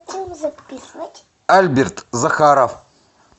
альберт захаров